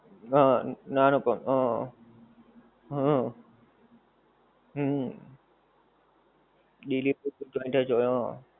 હ નાનું પણ હ હ હમ delivery